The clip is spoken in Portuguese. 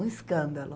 Um escândalo.